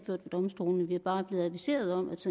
ved domstolene vi er bare blevet adviseret om at